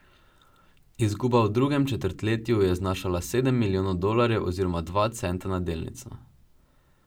Izguba v drugem četrtletju je znašala sedem milijonov dolarjev oziroma dva centa na delnico.